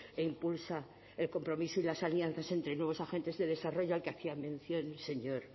e impulsa el compromiso y las alianzas entre nuevos agentes de desarrollo al que hacía mención el señor